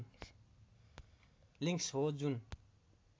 links हो जुन